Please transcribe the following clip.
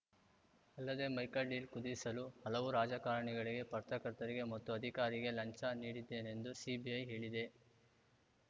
ಅಲ್ಲದೆ Michael deal ಕುದಿಸಲು ಹಲವು ರಾಜಕಾರಣಿಗಳಿಗೆ ಪತ್ರಕರ್ತರಿಗೆ ಮತ್ತು ಅಧಿಕಾರಿಗೆ ಲಂಚ ನೀಡಿದ್ದೇನೆಂದು ಸಿಬಿಐ ಹೇಳಿದೆ